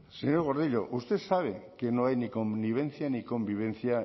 señor gordillo usted sabe que no hay ni connivencia ni convivencia